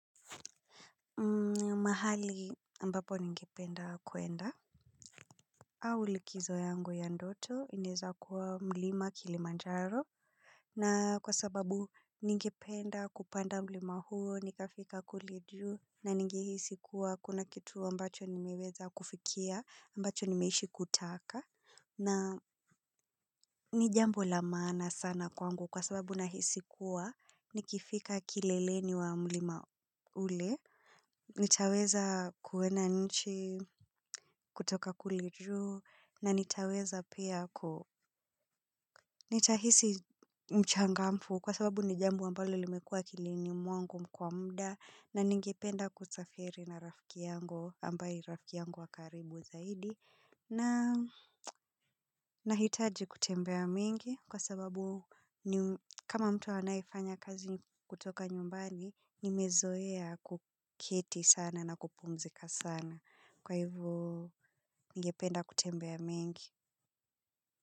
Mahali ambapo ningependa kuenda. Au likizo yangu ya ndoto inaweza kuwa mlima kilimanjaro. Na kwa sababu ningependa kupanda mlima huo, nikafika kule juu na ningehisi kuwa kuna kitu ambacho nimeweza kufikia, ambacho nimeishi kutaka. Na ni jambo la maana sana kwangu kwa sababu nahisi kuwa nikifika kileleni wa mlima ule. Nitaweza kuona nchi, kutoka kule juu, na nitaweza pia ku, nitahisi mchangamfu kwa sababu ni jambo ambalo limekua akilini mwangu kwa muda na ningependa kusafiri na rafiki yangu ambaye ni rafiki yangu wa karibu zaidi. Nahitaji kutembea mingi kwa sababu kama mtu anayefanya kazi kutoka nyumbani, nimezoea kuketi sana na kupumzika sana. Kwa hivo ningependa kutembea mingi.